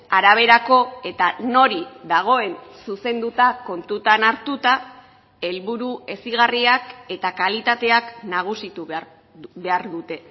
araberako eta nori dagoen zuzenduta kontutan hartuta helburu hezigarriak eta kalitateak nagusitu behar dute